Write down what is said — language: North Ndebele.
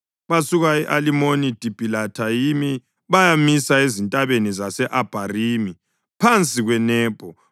Basuka e-Alimoni-Dibhilathayimi bayamisa ezintabeni zase-Abharimi, phansi kweNebho.